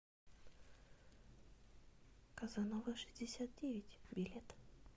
казанова шестьдесят девять билет